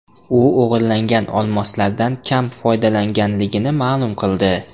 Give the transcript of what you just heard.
U o‘g‘irlangan olmoslardan kam foydalanganligini ma’lum qildi.